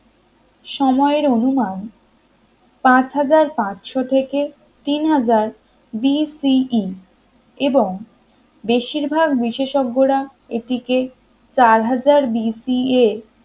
সময়ের অনুমান পাঁচ হাজার পাঁচশো থেকে থেকে তিন হাজার BCE এবং বেশিরভাগ বিশেষজ্ঞরা এটিকে চার হাজার BCA